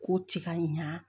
K'o ci ka ɲa